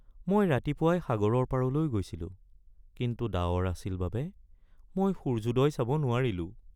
মই ৰাতিপুৱাই সাগৰৰ পাৰলৈ গৈছিলো, কিন্তু ডাৱৰ আছিল বাবে মই সূৰ্যোদয় চাব নোৱাৰিলোঁ।